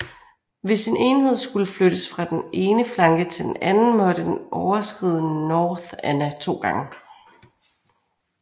Hvis en enhed skulle flyttes fra den ene flanke til den anden måtte den overskride North Anna to gange